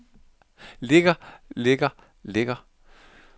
ligger ligger ligger